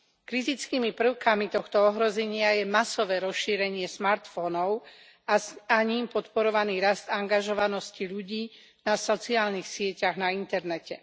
Kritickými prvkami tohto ohrozenia je masové rozšírenie smartfónov a ním podporovaný rast angažovanosti ľudí na sociálnych sieťach na internete.